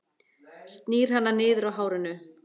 Snýr hana niður á hárinu.